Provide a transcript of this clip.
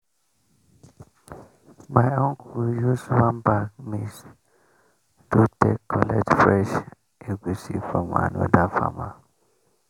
my uncle use one bag maize do take collect fresh egusi from another farmer.